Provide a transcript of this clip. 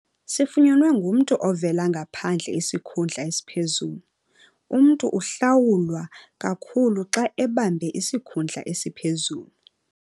Sifunyenwe ngumntu ovela ngaphandle isikhundla esiphezulu. Umntu uhlawulwa kakhulu xa ebambe isikhundla esiphezulu.